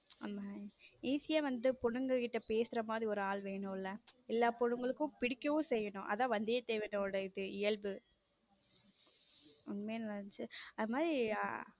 ஆமா easy யா வந்து பொண்ணுங்க கிட்ட பேசுற மாதிரி ஒரு ஆள் வேணும் ல எல்லா பொண்ணுங்களுக்கும் பிடிக்கவும் செய்யணும் அதுதான் வந்திய தேவனுடைய இயல்ப உண்மையை நல்லா இருந்துச்சு அந்த அதே மாதிரி.